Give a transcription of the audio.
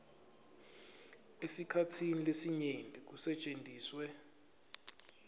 esikhatsini lesinyenti kusetjentiswe